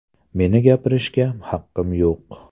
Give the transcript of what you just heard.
Meni gapirishga haqqim yo‘q!